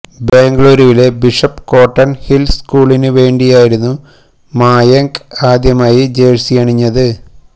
ബെംഗളൂരുവിലെ Bishop Cotton Hill സ്കൂളിനു വേണ്ടിയായിരുന്നു മായങ്ക് ആദ്യമായി ജേഴ്സിയണിഞ്ഞത്